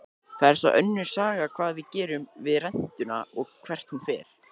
Það er svo önnur saga hvað við gerum við rentuna og hvert hún fer.